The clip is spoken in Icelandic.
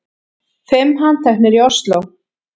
Fimm handteknir í Ósló